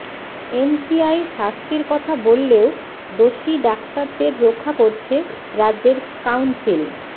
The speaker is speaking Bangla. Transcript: এমসিআই শাস্তির কথা বললেও দোষী ডাক্তারদের রক্ষা করছে রাজ্যের কাউন্সিল